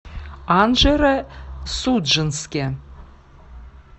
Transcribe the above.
анжеро судженске